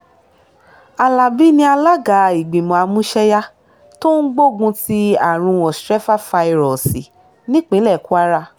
alábi ni alága ìgbìmọ̀ àmúṣẹ́yá tó ń gbógun ti àrùn ostrefafairọ́ọ̀sì nípínlẹ̀ kwara